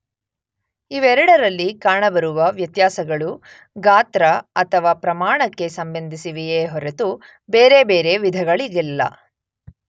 ಇವೆರಡರಲ್ಲಿ ಕಾಣಬರುವ ವ್ಯತ್ಯಾಸಗಳು ಗಾತ್ರ ಅಥವಾ ಪ್ರಮಾಣಕ್ಕೆ ಸಂಬಂಧಿಸಿವೆಯೇ ಹೊರತು ಬೇರೆಬೇರೆ ವಿಧಗಳಿಗಲ್ಲ.